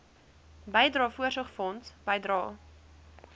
bydrae voorsorgfonds bydrae